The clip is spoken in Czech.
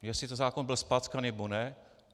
Jestli ten zákon byl zpackaný, nebo ne.